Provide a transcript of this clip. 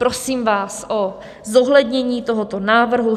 Prosím vás o zohlednění tohoto návrhu.